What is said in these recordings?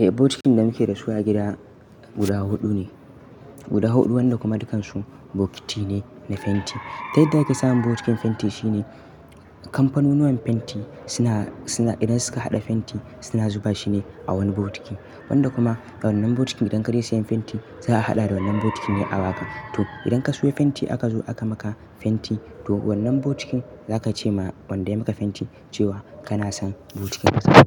Eh bokitin da muke da su a gida guda huɗu ne, guda huɗu wanda kuma dukansu bokiti ne na fenti. Ta yadda ake samun bokitin fenti shine kamfanonuwan fenti suna, suna idan suka haɗa fenti suna zuba shi ne a wani bokiti. Wanda kuma wannan bokitin idan ka je sayan fenti za a haɗa da wannan bokitin ne a baka. To idan ka siyo fenti aka zo aka maka fenti to wannan bokitin za ka ce ma wanda ya maka fenti cewa kana son bokitin ka sake masa. Zaka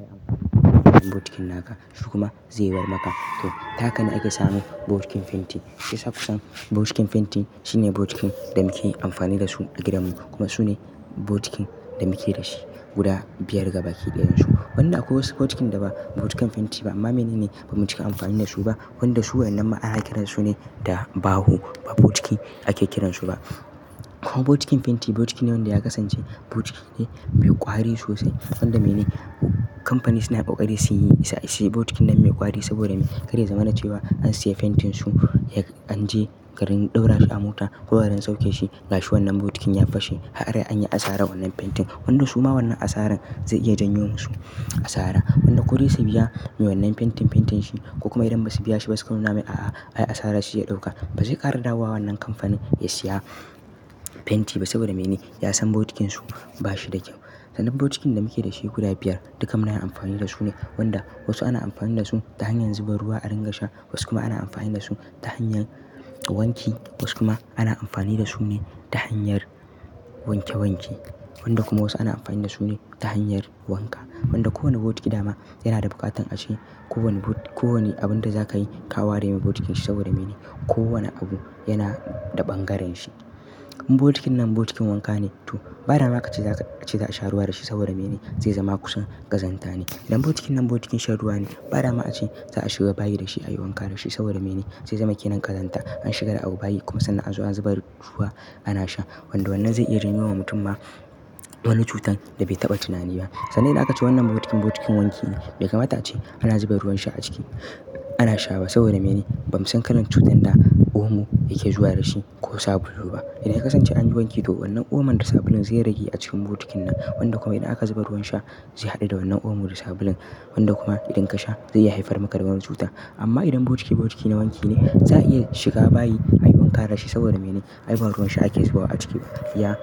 yi amfani da wannan bokitin naka. Shi kuma zai bar maka. To ta haka ne ake samun bokitin fenti. Shiyasa kusan bokitin fenti shine bokitin da muke amfani da su a gidan mu kuma sune bokitin da muke da shi guda biyar gaba ki ɗayan su. Wanda akwai wasu bokitin da ba bokitin fenti ba amma mene ne bamu cika amfani da su ba wanda su wannan ma ana kiransu ne da baho ba bokiti ake kiransu ba. Kuma bokitin fenti bokiti ne wanda ya kasance bokiti ne mai ƙwari sosai. Wanda mene kamfani suna kakari suyi is, is bokitin nan mai ƙwari saboda mene? Kada ya zama na cewa an siya fentinsu an je garin ɗaura shi a mota ko garin sauke shi gashi wannan bokitin ya fashe. Kaga dai an yi asarar wannan fentin. Wanda su ma wannan asaran zai iya janyo musu asara. Wanda ko dai su biya me wannan fentin fentin shi ko kuma idan ba su biya shi ba su kuma suna mai a'a ai asara shi ya ɗauka. Ba zai ƙara dawowa wannan kamfanin ya siya fenti ba saboda mene? Ya san bokitinsu ba shi da kyau. Sannan bokitin da muke da shi guda biyar dukkan mu nayi amfani da su ne wanda wasu ana amfani da su ta hanyar zuba ruwa a ringa sha wasu kuma ana amfani da su ta hanyar wanki wasu kuma ana amfani da su ne ta hanyar wanke wanke. Wanda kuma wasu ana amfani da su ne ta hanyar wanka. Wanda kowane bokiti dama yana da buƙatan a ce ko wani ko wani abun da za ka yi ka ware mai bokitin shi saboda mene ko wane abu yana da ɓangaren shi. In bokitin nan bokitin wanka ne to badama ka ce za ka ce za a sha ruwa da shi saboda mene? Zai zama kusan ƙazanta ne. Idan bokitin nan bokitin sha ruwa ne bada ma a ce za a shiga bayi da shi a yi wanka da shi saboda mene? Zai zama ke nan ƙazanta an shiga da abu bayi kuma sannan a zo a zuba ruwa ana sha. Wanda wannan zai iya janyo wa mutum ma wani cutan da bai taɓa tunani ba. Sannan idan aka ce wannan bokitin bokitin wanki ne bai kamata ace ana zuba ruwan sha a ciki. Ana sha ba saboda mene? Bamusan kalan cutan da omo yake zuwa da shi ko sabulu ba. Idan ka kasance an yi wanki to wannan oman da sabulun zai rage a cikin bokitin nan wanda kuma idan aka zuba ruwan sha zai haɗu da wannan oman da sabulun wanda kuma idan ka sha zai yi haifar maka da wani cuta. Amma idan bokitin bokitin na wanki ne za a iya shiga bayi a yi wanka da shi saboda mene? Ai ba ruwan sha ake zubawa a ciki. iYa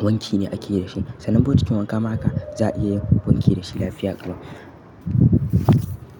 wanki ne ake da shi. Sannan bokitin wanka ma haka za a iya wanke da shi lafiya kuma.